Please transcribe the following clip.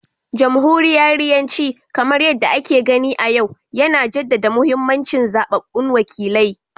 Jamhuriyariyanci, kamar yadda ake gani a yau, yana jaddada mahimmancin zaɓaɓɓun wakilai